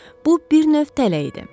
Bu bir növ tələ idi.